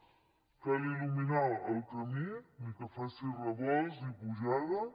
cal il·luminar el camí ni que faci revolts i pujades